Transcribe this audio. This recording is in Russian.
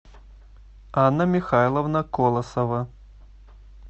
анна михайловна колосова